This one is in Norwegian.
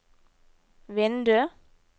vindu